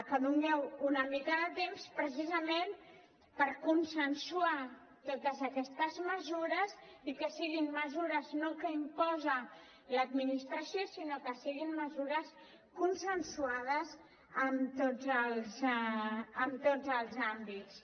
que doneu una mica de temps precisament per consensuar totes aquestes mesures i que siguin mesures no que imposa l’administració sinó que siguin mesures consensuades en tots els àmbits